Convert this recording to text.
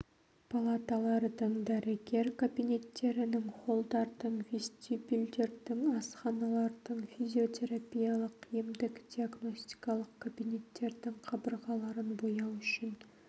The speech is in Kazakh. палаталардың дәрігерлер кабинеттерінің холдардың вестибюльдердің асханалардың физиотерапиялық емдік-диагностикалық кабинеттердің қабырғаларын бояу үшін